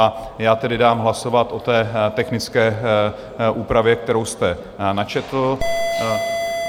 A já tedy dám hlasovat o té technické úpravě, kterou jste načetl.